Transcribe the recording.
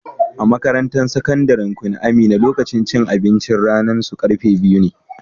A'makarantan sakandaren Queen Amina, lokacin cin abincin ranan su karfe biyu ne.